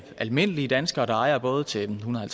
almindelige danskere der ejer både til ethundrede og